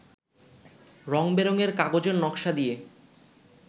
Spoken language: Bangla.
রঙ-বেরঙের কাগজের নকশা দিয়ে